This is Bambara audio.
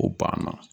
O banna